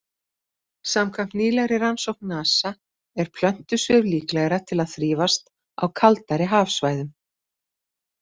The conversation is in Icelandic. Samkvæmt nýlegri rannsókn NASA er plöntusvif líklegra til að þrífast á kaldari hafsvæðum.